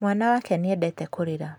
Mwana wake nĩendete kũrĩra